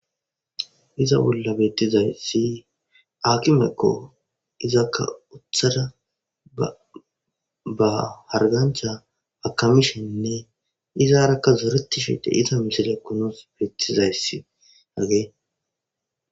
iza bolla beettizayssi akimekko izakka uthada ba hargancha hakamishenne izaarakka zoretishe de iza misilekunos beettizayssi agee